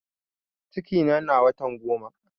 Cikina na watan goma